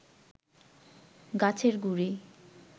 গাছের গুঁড়ি